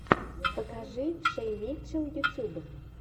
покажи шей митчелл ютуб